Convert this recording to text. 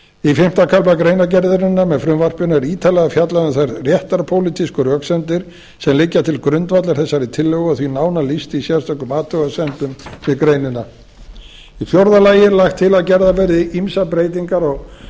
í fimmta kafla greinargerðarinnar með frumvarpinu er ítarlega fjallað um þær réttarpólitísku röksemdir sem liggja til grundvallar þessari tillögu og því nánar lýst í sérstökum athugasemdum við greinina í fjórða lagi er lagt til að gerðar verði ýmsar breytingar á